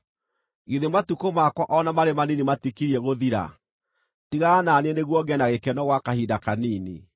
Githĩ matukũ makwa o na marĩ manini matikirie gũthira? Tigana na niĩ nĩguo ngĩe na gĩkeno gwa kahinda kanini,